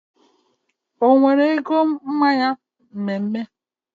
Onwere ego mmanya mme mme